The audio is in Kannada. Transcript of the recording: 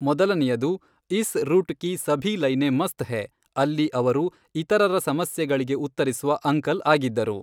ಮೊದಲನೆಯದು ಈಸ್ ರೂಟ್ ಕಿ ಸಭಿ ಲೈನೇ ಮಸ್ತ್ ಹೇ, ಅಲ್ಲಿ ಅವರು ಇತರರ ಸಮಸ್ಯೆಗಳಿಗೆ ಉತ್ತರಿಸುವ ಅಂಕಲ್ ಆಗಿದ್ದರು.